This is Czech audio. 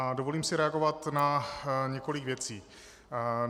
A dovolím si reagovat na několik věcí.